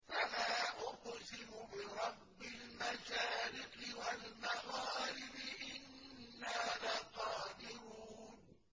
فَلَا أُقْسِمُ بِرَبِّ الْمَشَارِقِ وَالْمَغَارِبِ إِنَّا لَقَادِرُونَ